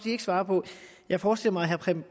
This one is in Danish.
ikke svare på jeg forestiller mig herre preben